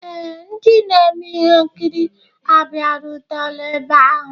Ee, ndị na-eme ihe nkiri abịarutela ebe ahụ